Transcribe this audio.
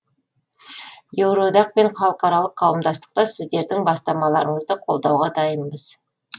еуроодақ пен халықаралық қауымдастықта сіздердің бастамаларыңызды қолдауға дайынбыз